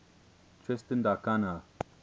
tristan da cunha